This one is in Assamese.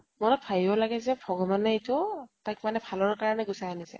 মনত ভাবিব লাগে যে ভগৱানে এইতো তাইক মানে ভালৰ কাৰণে গুছাই আনিছে।